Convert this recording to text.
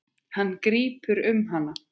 Hann grípur um hana.